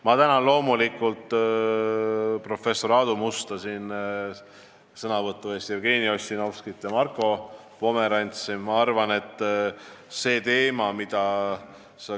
Ma tänan loomulikult professor Aadu Musta sõnavõtu eest, ka Jevgeni Ossinovskit ja Marko Pomerantsi!